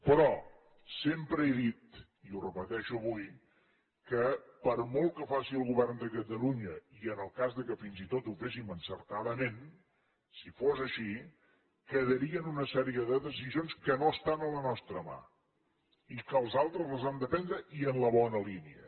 però sempre he dit i ho repeteixo avui que per molt que faci el govern de catalunya i en el cas que fins i tot ho féssim encertadament si fos així quedarien una sèrie de decisions que no estan a la nostra mà i que els altres les han de prendre i en la bona línia